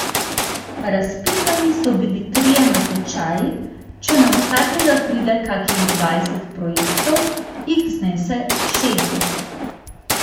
Razpisani so bili trije natečaji, če na vsakega pride kakih dvajset projektov, jih znese šestdeset.